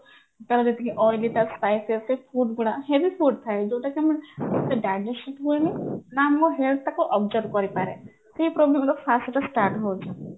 ତ ଯେତିକି oily ବା spicy food ଗୁଡା heavy food ଥାଏ ଯୋଉଟାକି ଆମ digestion ହୁଏନି ନା ଆମ health ତାକୁ observe କରିପାରେ ସେଇ problem ହେଲା first ରୁ ଯେତେବେଳେ start ହଉଛି